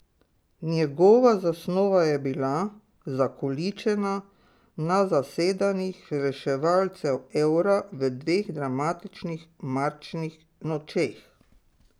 Njegova zasnova je bila zakoličena na zasedanjih reševalcev evra v dveh dramatičnih marčnih nočeh.